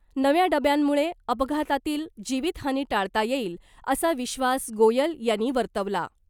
नव्या डब्यांमुळे अपघातातील जीवीतहानी टाळता येईल , असा विश्वास गोयल यांनी वर्तवला .